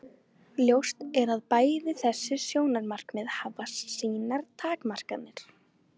Ljóst er að bæði þessi sjónarmið hafa sínar takmarkanir.